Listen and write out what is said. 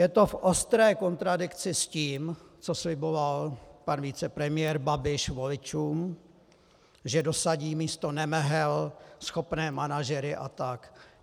Je to v ostré kontradikci s tím, co sliboval pan vicepremiér Babiš voličům, že dosadí místo nemehel schopné manažery a tak.